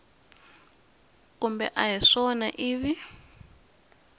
kumbe a hi swona ivi